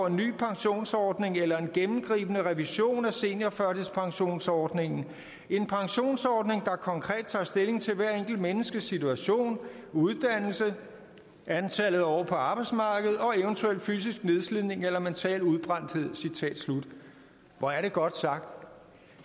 en ny pensionsordning eller en gennemgribende revision af seniorførtidspensionsordningen en pensionsordning der konkret tager stilling til hvert enkelt menneskes situation uddannelse antallet af år på arbejdsmarkedet og eventuel fysisk nedslidning eller mental udbrændthed hvor er det godt sagt